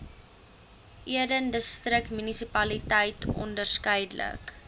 eden distriksmunisipaliteit onderskeidelik